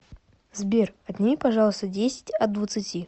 сбер отнеми пожалуйста десять от двадцати